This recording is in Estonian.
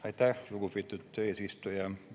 Aitäh, lugupeetud eesistuja!